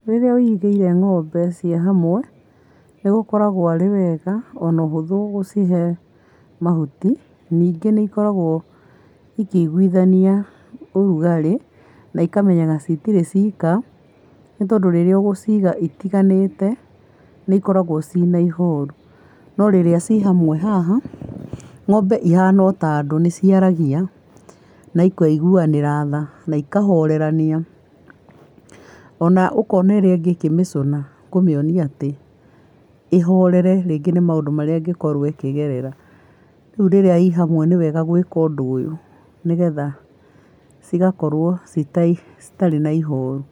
Rĩrĩa wĩirigĩire ng'ombe ciĩ hamwe, nĩ gũkoragwo arĩ wega o na ũhũthũ gũcihe mahuti. Ningĩ nĩ ikoragwo ikĩiguithania ũrugarĩ na ikamenyaga citirĩ cika, nĩ tondũ rĩrĩa ũgũciiga itiganĩte nĩ ikoragwo ciĩna ihoru. No rĩrĩa ci hamwe haha, ng'ombe ihana o ta andũ, nĩ ci aragia, na ikaiguanĩra tha, na ikahorerania. O na ũkona ĩrĩa ĩngĩ ĩkĩmĩcũna kũmĩonia atĩ ĩhorere rĩngĩ nĩ maũndũ marĩa ĩngĩkorwo ĩkĩgerera. Rĩu rĩrĩa i hamwe, nĩ wega gwĩka ũndũ ũyũ, nĩgetha cigakorwo citarĩ na ihoru.